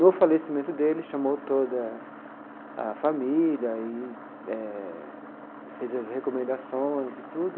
No falecimento dele, chamou toda a família, e eh fez as recomendações e tudo.